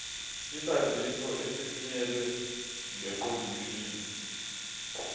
izaziso ezithunyelwe ngeqondomshini